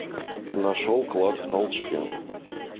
нашел клад в толчке